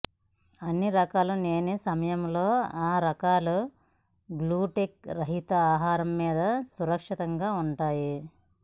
అన్ని రకాలు లేని సమయంలో ఆ రకాలు గ్లూటెన్ రహిత ఆహారం మీద సురక్షితంగా ఉంటాయి